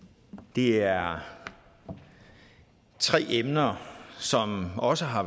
det er tre emner som også har